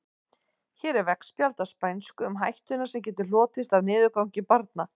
Hér er veggspjald á spænsku um hættuna sem getur hlotist af niðurgangi barna.